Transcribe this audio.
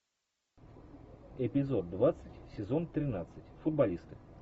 эпизод двадцать сезон тринадцать футболисты